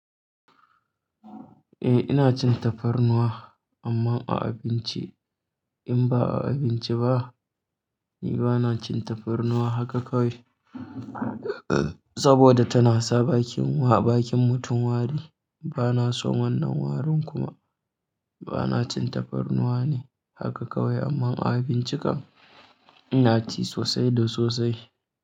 Eh, ina cin tafarnuwa amma a abinci, in ba a abinci ba ni bana cin tafarnuwa haka kawai saboda tana sa bakin wa bakin mutum wari. Bana son wannan warin kuma bana cin tafarnuwa ne haka kawai amma a abincin kam ina ci sosai da sosai.